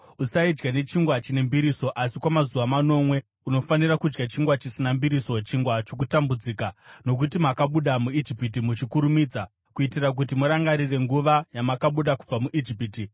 Usaidya nechingwa chine mbiriso, asi kwamazuva manomwe unofanira kudya chingwa chisina mbiriso, chingwa chokutambudzika, nokuti makabuda muIjipiti muchikurumidza, kuitira kuti murangarire nguva yamakabuda kubva muIjipiti.